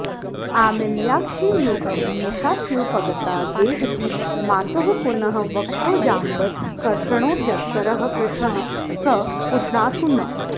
आमील्याक्षियुगं निशाप्युपगता देहीति मातुः पुनः वक्षोजाम्बरकर्षणोद्यतकरः कृष्णः स पुष्णातु नः